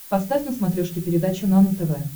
поставь на смотрешке передачу нано тв